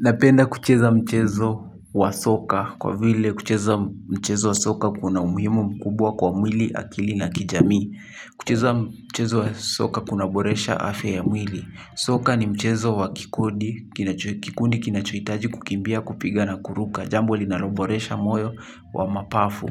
Napenda kucheza mchezo wa soka kwa vile kucheza mchezo wa soka kuna umuhimu mkubwa kwa mwili, akili na kijamii. Kucheza mchezo wa soka kuna boresha afya mwili. Soka ni mchezo wa kikundi kinachoitaji kukimbia, kupiga na kuruka. Jambo linaloboresha moyo wa mapafu.